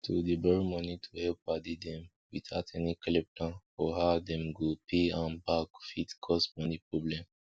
to dey borrow moni to help padi dem witout any clear plan foor how dem go dey pay am back fit cause moni problem